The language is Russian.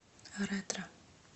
ретро